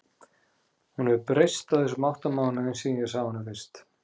Hún hefur breyst á þessum átta mánuðum síðan ég sá hana fyrst.